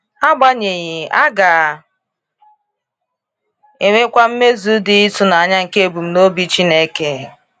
Agbanyeghị, a ga enwekwa mmezu dị ịtụnanya nke ebumnobi Chineke.